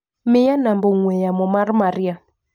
Miya namba ong'ue yamo mar Maria.